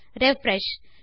refresh